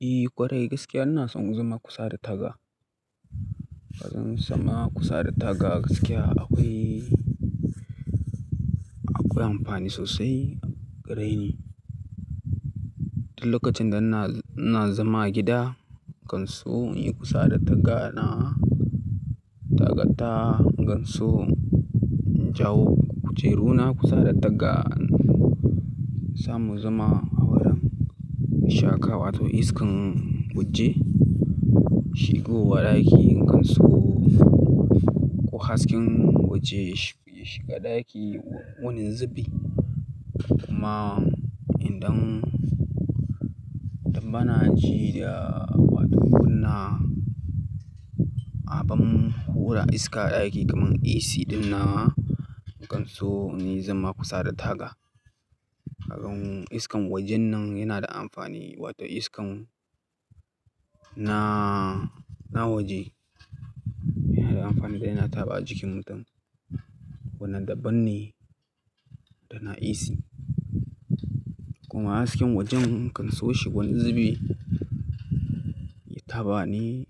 Eh ƙwarai gaskiya ina son zama kusa da taga. Don zama kusa da taga gaskiya akwai, akwai amfani sosai ga rai ne. Duk lokacin da ina, ina zama gida, kan so in yi kusa da taga na tagata, in kan so in jawo kujeru na kusa da taga, sa mu zama a wurin ishaka wato iskan waje shigo wa ɗaki in kan so ko hasken waje ya shiga ɗaki wurin zubi. Kuma idan, idan bana ji da wadi gonna, abun hura iska ɗaki kaman AC dinnan, in kan so na yi zama kusa da taga. Haka kuma iskan wajen nan yana da amfani wato iskan na, na waje yana da amfani da yana taba jikin mutum wannan dabban ne da na AC. Kuma hasken wajen in kan so shi wani zubi, ya taba ni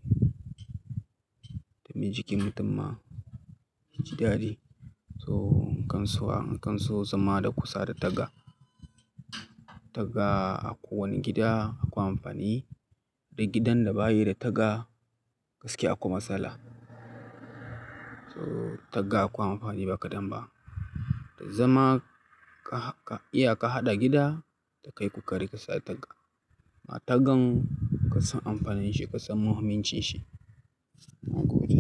domin jikin mutum ma ji daɗi. So in kan so a, in kan so zama da kusa da taga. Taga a kowane gida akwai amfani. Da gidan da bayi da taga gaskiya akwai matsala. So taga akwai amfani ba kadan ba. Da zama ka, iya ka haɗa gida, ka kai ku kari ka sa taga. Ma tagan ka san amfanin shi, ka san muhimmancin shi. Na gode.